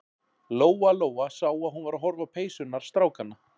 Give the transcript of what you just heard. Lóa-Lóa sá að hún var að horfa á peysurnar strákanna.